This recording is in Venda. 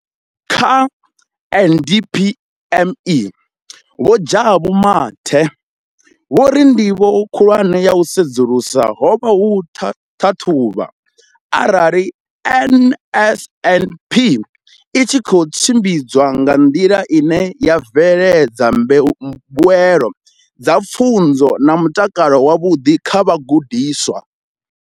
Kha DPME, Vho Jabu Mathe, vho ri ndivho khulwane ya u sedzulusa ho vha u ṱhaṱhuvha arali NSNP i tshi khou tshimbidzwa nga nḓila ine ya bveledza mbuelo dza pfunzo na mutakalo wavhuḓi kha vhagudiswa.